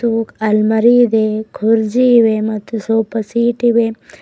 ಆಲ್ಮಾರಿ ಇದೆ ಕುರ್ಜಿ ಇವೆ ಮತ್ತು ಸಾಫ ಸಿಟ್ ಇವೆ.